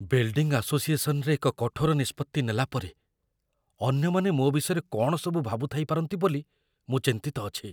Building ଆସୋସିଏସନରେ ଏକ କଠୋର ନିଷ୍ପତ୍ତି ନେଲା ପରେ, ଅନ୍ୟମାନେ ମୋ ବିଷୟରେ କ'ଣ ସବୁ ଭାବୁଥାଇପାରନ୍ତି ବୋଲି ମୁଁ ଚିନ୍ତିତ ଅଛି।